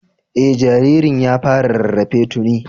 Eh, jaririn ya fara rarrafe tuni